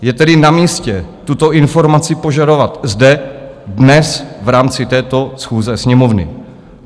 Je tedy na místě tuto informaci požadovat zde dnes v rámci této schůze Sněmovny.